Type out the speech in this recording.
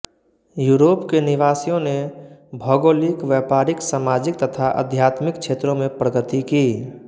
Europe के निवासियों ने भौगोलिक व्यापारिक सामजिक तथा आध्यात्मिक क्षेत्रों में प्रगति की